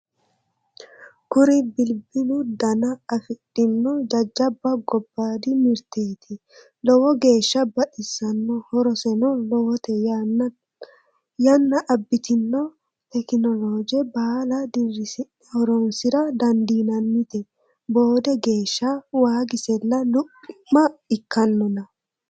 Kuri bilbilu dana afidhino jajjabba gobbadi mirteti lowo geeshsha baxisano horoseno lowote yanna abbitino tekinoloje baalla dirisi'ne horonsira dandiinannite boode geeshsha waagisella luphima ikkanonna.